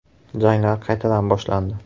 Janglar qaytadan boshlandi.